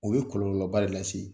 O bɛ kɔlɔlɔba re lase.